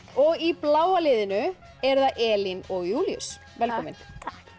og í bláa liðinu eru það Elín og Júlíus velkomin takk